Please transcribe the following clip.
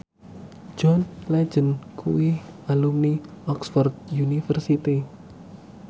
John Legend kuwi alumni Oxford university